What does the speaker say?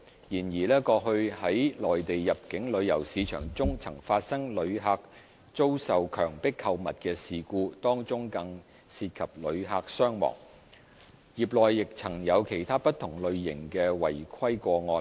然而，過去在內地入境旅遊市場中曾發生旅客遭受強迫購物的事故，當中更曾涉及旅客傷亡，業內亦曾有其他不同類型的違規個案。